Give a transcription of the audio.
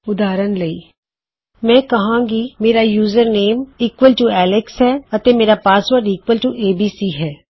ਉਦਾਹਰਨ ਲਈ ਮੈਂ ਕਹਾਂਗਾ ਕੀ ਮੇਰਾ ਯੂਜ਼ਰਨੇਮ ਈਕੁਏਲ ਟੂ ਐਲਕਸ ਹੈ ਅਤੇ ਮੇਰਾ ਪਾਸਵਰਡ ਈਕੁਏਲ ਟੂ ਏਬੀਸੀ ਹੈ